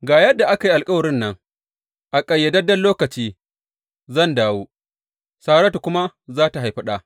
Ga yadda aka yi alkawarin nan, A ƙayyadadden lokaci zan dawo, Saratu kuma za tă haifi ɗa.